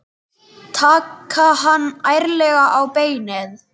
Taka hann ærlega á beinið.